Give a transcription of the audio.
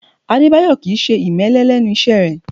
Adébáyọ̀ Kì í ṣe ìmẹ́lẹ́ lẹ́nu iṣẹ́ rẹ̀